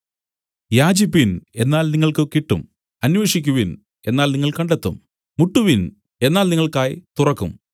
യാചിപ്പിൻ എന്നാൽ നിങ്ങൾക്ക് കിട്ടും അന്വേഷിക്കുവിൻ എന്നാൽ നിങ്ങൾ കണ്ടെത്തും മുട്ടുവിൻ എന്നാൽ നിങ്ങൾക്കായി തുറക്കും